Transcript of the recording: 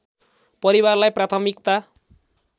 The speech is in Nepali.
परिवारलाई प्राथमिकता